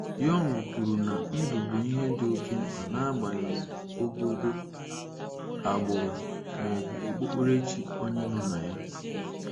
Young kwuru na ndụ bụ ihe dị oké mkpa n'agbanyeghi ogogo, agbụrụ maọbụ okpukperechi onye nọ na ya.